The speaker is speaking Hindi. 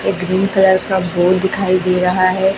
एक ग्रीन कलर का बोर्ड दिखाई दे रहा है।